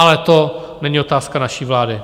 Ale to není otázka naší vlády.